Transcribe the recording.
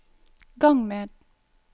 gang med